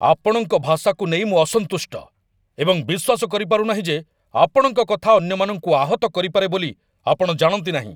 ଆପଣଙ୍କ ଭାଷାକୁ ନେଇ ମୁଁ ଅସନ୍ତୁଷ୍ଟ, ଏବଂ ବିଶ୍ୱାସ କରିପାରୁନାହିଁ ଯେ ଆପଣଙ୍କ କଥା ଅନ୍ୟମାନଙ୍କୁ ଆହତ କରିପାରେ ବୋଲି ଆପଣ ଜାଣନ୍ତି ନାହିଁ।